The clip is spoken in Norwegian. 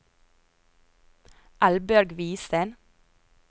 Eldbjørg Hvidsten